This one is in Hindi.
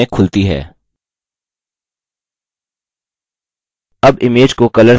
अब इमेज को color से greyscale में बदलें